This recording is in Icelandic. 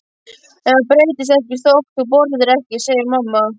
En það breytist ekkert þótt þú borðir ekki, segir mamma.